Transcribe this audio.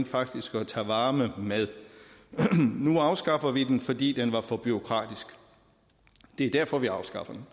faktisk at tage varme med nu afskaffer vi den fordi den er for bureaukratisk det er derfor vi afskaffer den